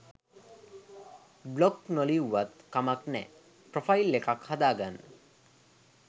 Blog නොලිව්වත් කමක් නෑ ‍ප්‍රොෆයිල් එකක් හදාගන්න.